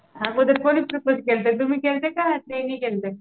अगोदर कुणी प्रपोज केलतं तुम्ही केलतं का त्यांनी केलतं?